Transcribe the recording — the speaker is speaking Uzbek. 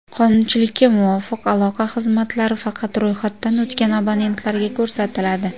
Qonunchilikka muvofiq aloqa xizmatlari faqat ro‘yxatdan o‘tgan abonentlarga ko‘rsatiladi.